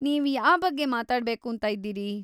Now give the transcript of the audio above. ನೀವ್‌ ಯಾಬಗ್ಗೆ ಮಾತಾಡ್ಬೇಕೂಂತ ಇದ್ದೀರಿ?